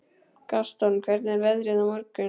Gaston, hvernig er veðrið á morgun?